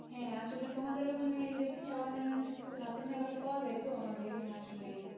হ্যাঁ আসলে তোমাদের ওখানে যে পিঠা বানানো সবকিছু হাতের নাগালে পাওয়া যায় তো আমাদের এখানে আসলে